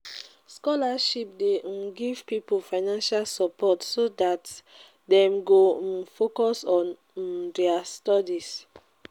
scholarship de um give pipo financial support so that dem go um focus on um their studies